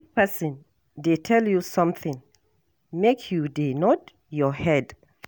If person dey tell you something, make you dey nod your head.